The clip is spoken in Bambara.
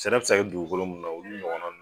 Sɛnɛ bɛ se ka kɛ dugukolo minnu na olu ɲɔgɔnna ninnu